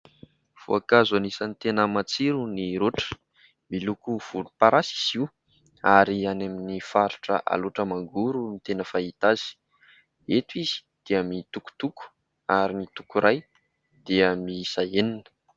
Voankazo anisany tena matsiro ny roatra, miloko volomparasy izy io ary any amin'ny faritra Alaotra Mangoro no tena fahita azy ; eto izy dia mitokotoko ary ny toko iray dia miisa enina.